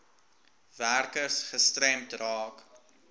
werkers gestremd raak